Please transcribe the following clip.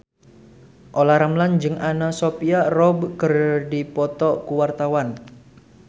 Olla Ramlan jeung Anna Sophia Robb keur dipoto ku wartawan